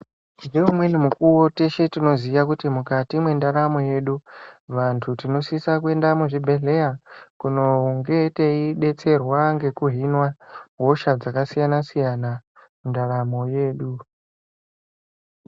Ngeumweni mukuwo teshe tinoziya kuti mukati mwendaramo yedu ,vantu tinosisa kuenda muchibhedhleya kunonge teidetserwa ngekuhinwa hosha dzakasiyana-siyana, mundaramo yedu .